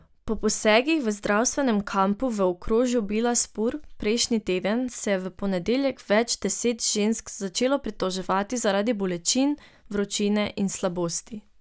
Po posegih v zdravstvenem kampu v okrožju Bilaspur prejšnji teden se je v ponedeljek več deset žensk začelo pritoževati zaradi bolečin, vročine in slabosti.